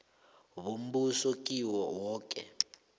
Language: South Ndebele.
bombuso kiwo woke